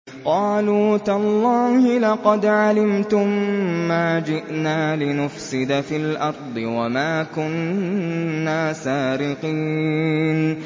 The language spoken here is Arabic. قَالُوا تَاللَّهِ لَقَدْ عَلِمْتُم مَّا جِئْنَا لِنُفْسِدَ فِي الْأَرْضِ وَمَا كُنَّا سَارِقِينَ